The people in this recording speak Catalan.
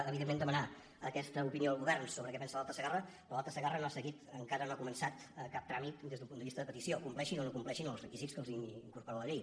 evidentment demanar aquesta opinió al govern sobre què pensa de l’alta segarra però l’alta segarra no ha seguit encara no ha començat cap tràmit des d’un punt de vista de petició compleixin o no compleixin els requisits que incorpora la llei